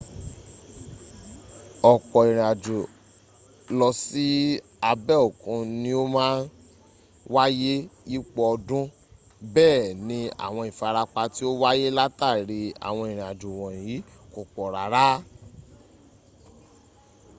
ọ̀pọ̀ ìrìnàjò lọ sí abẹ́ òkun ni o máa n wáyé yípo ọdún bẹ́ẹ̀ ni àwọn ìfarapa tí ó wáyé látàrí àwọn ìrìnàjò wọ̀nyí kò pọ̀ rárá